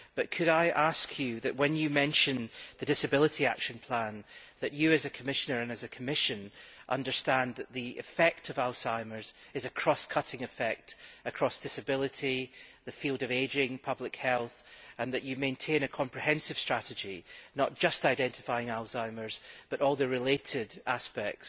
But could I ask, when you discuss the disability action plan, that you as a Commissioner and as a Commission bear in mind that the effect of Alzheimer's is a cross cutting effect across disability, the field of ageing and public health and that you maintain a comprehensive strategy, not just identifying Alzheimer's but including all the related aspects